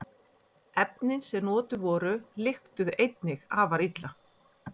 Efnin sem notuð voru lyktuðu einnig afar illa.